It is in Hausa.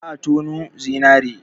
Za a tonu zinare.